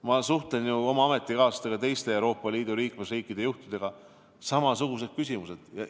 Ma suhtlen oma ametikaaslastega, teiste Euroopa Liidu liikmesriikide juhtidega – samasugused küsimused!